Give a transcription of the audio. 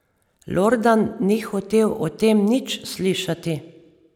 Lordan ni hotel o tem nič slišati.